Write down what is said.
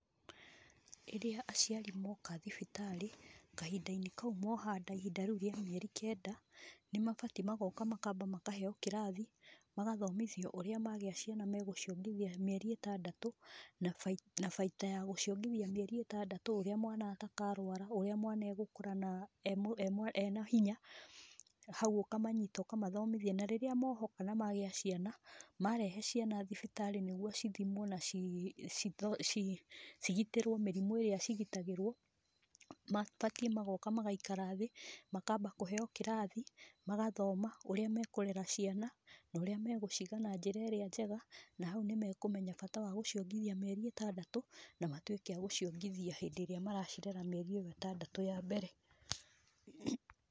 Rĩrĩa aciari moka thibitarĩ, kahinda-inĩ kau moha nda, ihinda rĩu rĩa mieri kenda, nĩ mabatiĩ magoka makamba makaheyo kĩrathi, magathomithio ũrĩa magĩa ciana megũciongithia mĩeri ĩtandatũ, na na baita ya gũciongithia mĩeri ĩtandatũ, ũrĩa mwana atakarwara, ũrĩa mwana egũkura na emwa emwa ena hinya, hau ũkamanyita ũkamathomithia, na rĩrĩa mohoka na magĩa ciana, marehe ciana thibitarĩ nĩguo cithimwo na cii citho cigitĩrwo mĩrimũ ĩrĩa cigitagĩrwo, mabatiĩ magoka magaikara thĩ, makamba kũheyo kĩrathi, magathoma ũrĩa mekũrera ciana, na ũrĩa megũciga na njĩra ĩrĩa njega, na hau nĩ mekũmenya bata wa gũciongithia mĩeri ĩtandatũ, na matwĩke agũciongithia hĩndĩ ĩrĩa maracirera mĩeri ĩyo ĩtandatũ ya mbere.